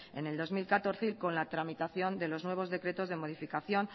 en el dos mil catorce y con la tramitación de los nuevos decretos de modificación